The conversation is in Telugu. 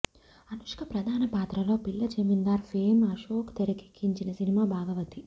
అనుష్క ప్రధాన పాత్రల్లో పిల్ల జమీందార్ ఫేమ్ అశోక్ తెరకెక్కించిన సినిమా భాగమతి